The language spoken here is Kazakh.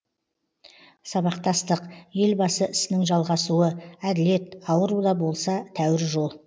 сабақтастық елбасы ісінің жалғасуы әділет ауыру да болса тәуір жол